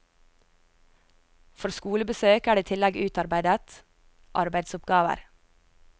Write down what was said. For skolebesøk er det i tillegg utarbeidet arbeidsoppgaver.